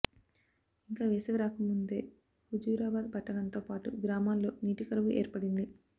ఇంకా వేసవి రాకముందే హుజూరాబాద్ పట్టణంతో పాటు గ్రామాల్లో నీటి కరవు ఏర్పడింది